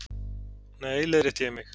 Nei, leiðrétti ég mig.